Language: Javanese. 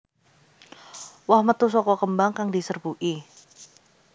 Woh metu saka kembang kang diserbuki